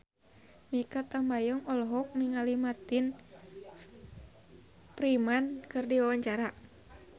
Mikha Tambayong olohok ningali Martin Freeman keur diwawancara